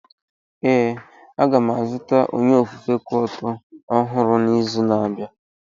Ee, a ga m azụta onye ofufe kuoto ọhụrụ n'izu na-abịa.